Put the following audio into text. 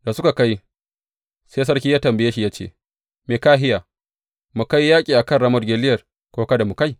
Da suka kai, sai sarki ya tambaye shi, ya ce, Mikahiya, mu kai yaƙi a kan Ramot Gileyad, ko kada mu kai?